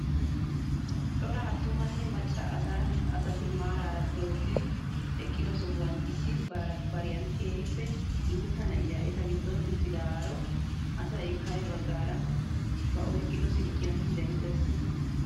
Cora attumanne macca asati maarara dooddidi eqqido sohuwaan issi bariyaan keehippe guutta na'iyaa eta giddon uttidaaro asay kare baggaara ba oyqqido silkkiyaan denttees!